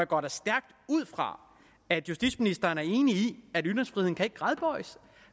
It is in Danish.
går da stærkt ud fra at justitsministeren er enig i